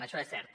això és cert